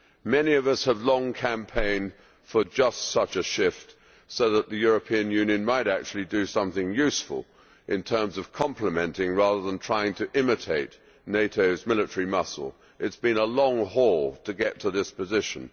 Many of us have long campaigned for just such a shift so that the European Union might actually do something useful in terms of complementing, rather than trying to imitate, NATO's military muscle. It has been a long haul to get to this position.